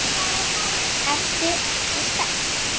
Ertu ekki spennt?